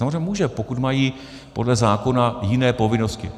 Samozřejmě může, pokud mají podle zákona jiné povinnosti.